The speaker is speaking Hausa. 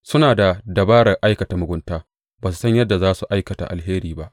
Suna da dabarar aikata mugunta; ba su san yadda za su aikata alheri ba.